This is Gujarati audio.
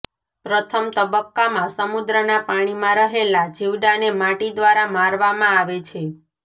પ્રથમ તબક્કામાં સમુદ્રના પાણીમાં રહેલા જીવડાને માટી દ્વારા મારવામાં આવે છે